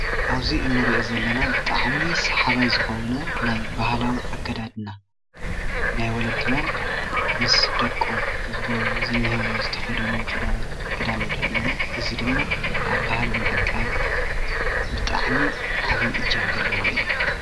ኣብ'ዚ እንሪኦ ዘለና ብጣዕሚ ሳሓባይ ዝኮነ ናይ ባህላዊ ኣከዳድና ናይ ወለድናን ምስ ደቆም ዝንሄዉ ዝትከደኑ ክዳን ንሪኢ ኣለና፡፡ እዚ ድማ ኣብ ባህሊ ምዕቃብ ብጣዕሚ ዓብይ እጃም ዘለዎ እዩ፡፡